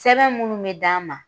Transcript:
Sɛbɛn minnu mi d'an ma